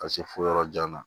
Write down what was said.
Ka se fo yɔrɔ jan na